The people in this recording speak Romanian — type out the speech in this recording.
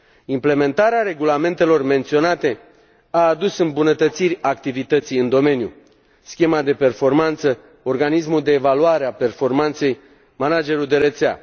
Implementarea regulamentelor menționate a adus îmbunătățiri activității în domeniu schema de performanță, organismul de evaluare a performanței, managerul de rețea.